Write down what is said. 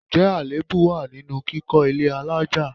Ǹjẹ́ àléébù wá nínú kíkọ ilé àlája?